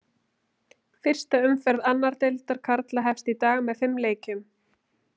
Fyrsta umferð annar deildar karla hefst í dag með fimm leikjum.